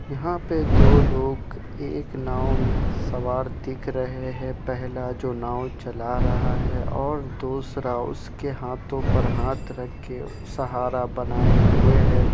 यहा पे दो लोग एक नाव मे सवार दिख रहे है। पहला जो नाव चला रहा है और दूसरा उसके हाथों पर हाथ रख के सहारा बनाऐ हुए है।